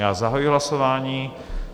Já zahajuji hlasování.